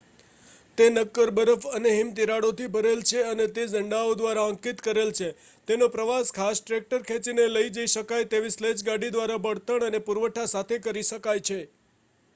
તે નક્કર બરફ અને હિમતીરાડો થી ભરેલ છે અને તેને ઝંડાઓ દ્વારા અંકિત કરેલ છે તેનો પ્રવાસ ખાસ ટ્રેક્ટર ખેંચીને લઈ જઈ શકાય તેવી સ્લેજ ગાડી દ્વારા બળતણ અને પુરવઠા સાથે કરી શકાય છે